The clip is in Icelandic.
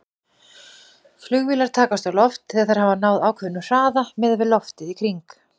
Flugvélar takast á loft þegar þær hafa náð ákveðnum hraða miðað við loftið í kring.